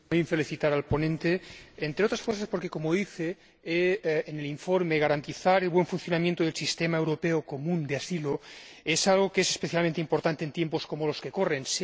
Señor Presidente, quiero felicitar al ponente, entre otras cosas porque, como dice en el informe, garantizar el buen funcionamiento del sistema europeo común de asilo es algo que es especialmente importante en tiempos como los que corren.